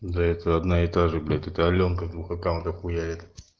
да это одна и та же блять это алёнка два аккаунта хуярил